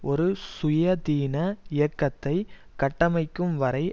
ஒரு சுயாதீன இயக்கத்தை கட்டமைக்கும் வரை